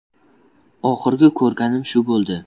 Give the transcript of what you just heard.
Oxirgi ko‘rganim shu bo‘ldi.